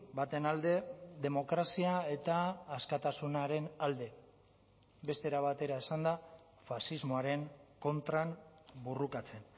baten alde demokrazia eta askatasunaren alde beste era batera esanda faxismoaren kontran borrokatzen